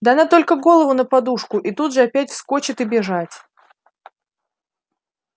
да она только голову на подушку и тут же опять вскочит и бежать